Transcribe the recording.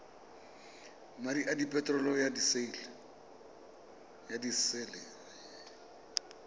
madi a peterolo ya disele